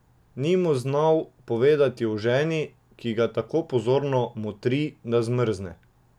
Ni mu znal povedati o ženi, ki ga tako pozorno motri, da zmrzne.